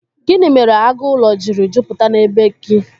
Gịnị mere agụ ụlọ jiri jupụta na bee gị?